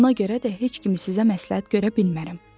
Ona görə də heç kimi sizə məsləhət görə bilmərəm.